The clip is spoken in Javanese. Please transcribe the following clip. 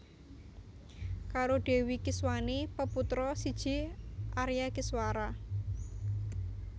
Karo Dèwi Kiswani peputra siji Arya Kiswara